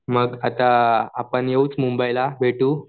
मग आता आपण येऊच मुंबईला भेटू